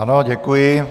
Ano, děkuji.